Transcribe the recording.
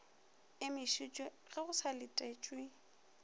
emišitšwe ge go sa letetšwe